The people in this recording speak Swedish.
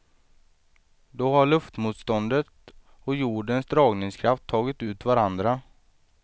Då har luftmotståndet och jordens dragningskraft tagit ut varandra.